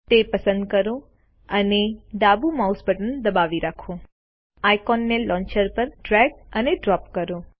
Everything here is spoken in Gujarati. તે પસંદ કરો અને ડાબું માઉસ બટન દબાવી રાખો હવે આઇકોન ને લોન્ચર પર ડ્રેગ અને ડ્રોપ કરો